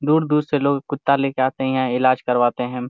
दूर दूर से लोग कुत्ता लेके आते हैयहाँ इलाज करवाते है|